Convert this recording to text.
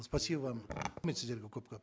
спасибо вам сіздерге көп көп